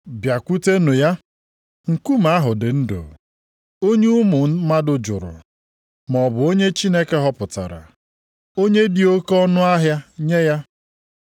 Bịakwutenụ ya, Nkume ahụ dị ndụ, onye ụmụ mmadụ jụrụ, maọbụ onye Chineke họpụtara, onye dị oke ọnụahịa nye ya.